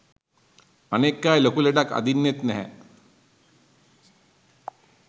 අනෙක් අය ලොකු ලෙඩක් අදින්නෙත් නැහැ.